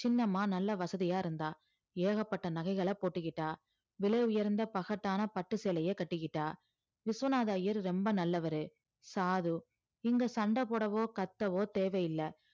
சின்னம்மா நல்லா வசதியா இருந்தா ஏகப்பட்ட நகைகளை போட்டுக்கிட்டா விலை உயர்ந்த பகட்டான பட்டு சேலைய கட்டிக்கிட்டா விஸ்வநாத ஐயர் ரொம்ப நல்லவரு சாது இங்க சண்டை போடவோ கத்தவோ தேவையில்ல